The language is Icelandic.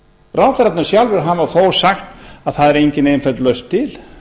ráðherrarnir sjálfir hafa þó sagt að það er engin einföld lausn til